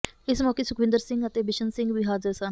ਇਸ ਮੌਕੇ ਸੁਖਵਿੰਦਰ ਸਿੰਘ ਅਤੇ ਬਿਸ਼ਨ ਸਿੰਘ ਵੀ ਹਾਜ਼ਰ ਸਨ